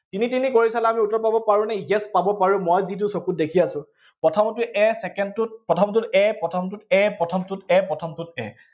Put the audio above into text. তিনি তিনি কৰি চালে আমি উত্তৰ পাব পাৰো নে, yes পাব পাৰো, মই যিটো চকুত দেখি আছো। প্ৰথমটোত a second টোত, প্ৰথমটোত a প্ৰথমটোত a প্ৰথমটোত a প্ৰথমটোত a